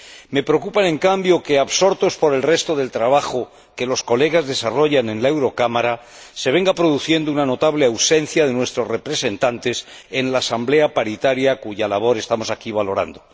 Me preocupa, en cambio, que, absortos por el resto del trabajo que los colegas desarrollan en la Eurocámara, se venga produciendo una notable ausencia de nuestros representantes en la Asamblea Paritaria, cuya labor estamos aquí valorando.